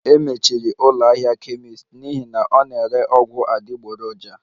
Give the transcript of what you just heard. E mechiri ụlọ ahịa kemist n'ihi na ọ na-ere ọgwụ adịgboroja